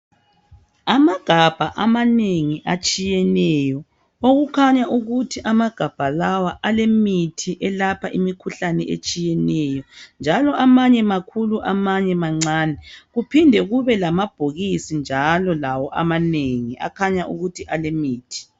Amagabha amanengi atshiyeneyo. Okukhanya ukuthi amagabha lawa alemithi elapha imikhuhlane etshiyeneyo. Njalo amanye makhulu, amanye mancane. Kuphinde kube lamabhokisi njalo lawo amanengi kukhanya ukuthi alemithi.